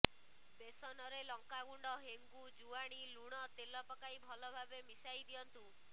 ବେସନରେ ଲଙ୍କା ଗୁଣ୍ଡ ହେଙ୍ଗୁ ଜୁଆଣୀ ଲୁଣ ତେଲ ପକାଇ ଭଲ ଭାବେ ମିଶାଇ ଦିଅନ୍ତୁ